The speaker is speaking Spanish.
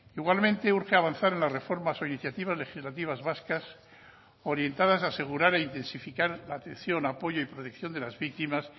igualmente urge avanzar en las reformas o iniciativas legislativas vascas orientadas a asegurar e intensificar la atención apoyo y protección de las víctimas